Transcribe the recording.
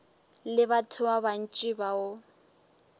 le batho ba bantši bao